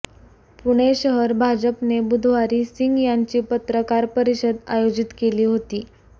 पुणे शहर भाजपने बुधवारी सिंग यांची पत्रकार परिषद आयोजित केली होती